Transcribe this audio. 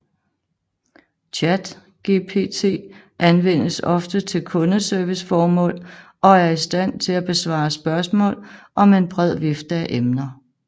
ChatGPT anvendes ofte til kundeserviceformål og er i stand til at besvare spørgsmål om en bred vifte af emner